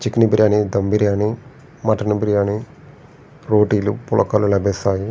Chicken biryani dum biryani mutton biryani రోటి లు పుల్కా లు లభిస్తాయి.